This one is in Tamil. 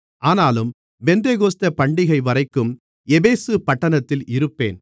ஆனாலும் பெந்தெகோஸ்தே பண்டிகைவரைக்கும் எபேசு பட்டணத்தில் இருப்பேன்